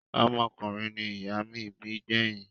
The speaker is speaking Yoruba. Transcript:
Ọmọkùnrin ni ìyá mí bí gbẹ́yìn.